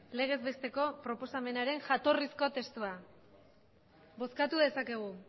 legez besteko proposamenaren jatorrizko testua bozkatu dezakegu